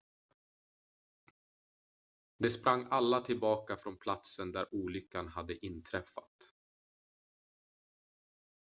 de sprang alla tillbaka från platsen där olyckan hade inträffat